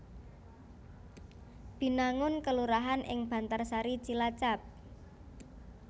Binangun kelurahan ing Bantarsari Cilacap